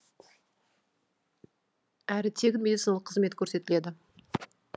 әрі тегін медициналық қызмет көрсетіледі